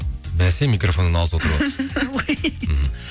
бәсе микрофоннан алыс отырып мхм